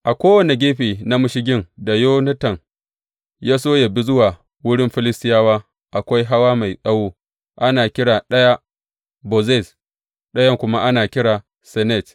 A kowane gefe na mashigin da Yonatan ya so yă bi zuwa wurin Filistiyawa, akwai hawa mai tsawo, ana kira ɗaya Bozez, ɗayan kuma ana kira Senet.